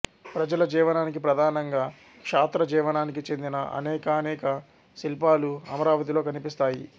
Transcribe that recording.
ప్రజల జీవనానికి ప్రధానంగా క్షాత్ర జీవనానికి చెందిన అనేకానేక శిల్పాలు అమరావతిలో కనిపిస్తాయి